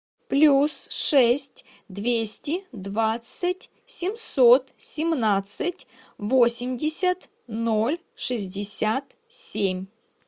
плюс шесть двести двадцать семьсот семнадцать восемьдесят ноль шестьдесят семь